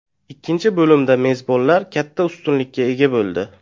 Ikkinchi bo‘limda mezbonlar katta ustunlikka ega bo‘ldi.